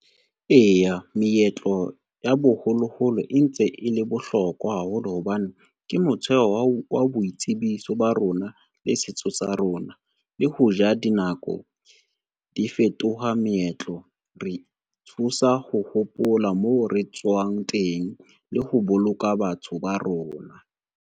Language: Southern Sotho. Eya, meetlo ya boholoholo e ntse e le bohlokwa haholo hobane, ke motheo wa boitsebiso ba rona le setso sa rona. Le hoja dinako di fetoha meetlo, re thusa ho hopola mo re tswang teng le ho boloka batho ba rona.